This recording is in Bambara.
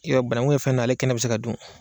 Yɔrɔ bananku ye fɛn dɔ ale kɛnɛ bi se ka dun